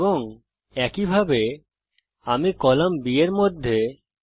এবং একইভাবে আমি কলাম B এর মধ্যে করব